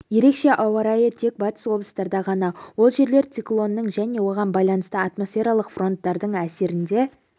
ерекше ауа райы тек батыс облыстарда ғана ол жерлер циклонның және оған байланысты атмосфералық фронттардың әсерінде